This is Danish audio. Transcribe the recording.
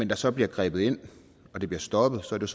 der så bliver grebet ind så de bliver stoppet